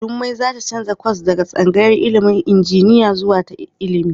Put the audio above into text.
Jummai za ta canza kwas daga tsangayar ilimin injiniya zuwa ta ilimi.